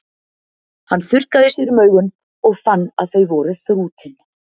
Hann þurrkaði sér um augun og fann að þau voru þrútin.